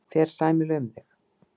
Fer sæmilega um þig?